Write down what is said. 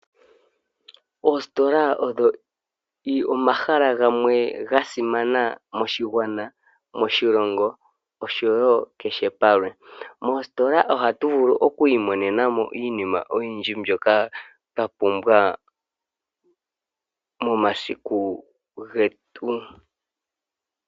Oositola odho omahala gamwe ga simana moshigwana, moshilongo osho wo kehe palwe. Moositola ohatu vulu okwiimonenamo iinima oyindji mbyoka twa pumbwa momasiku getu.